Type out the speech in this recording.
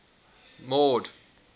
mord